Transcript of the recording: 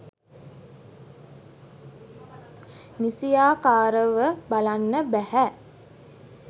නිසියාකාරව බලන්න බැහැ